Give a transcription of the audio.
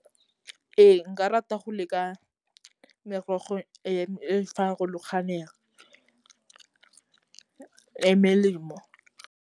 Ee nka rata go leka merogo e e farologaneng e melemo.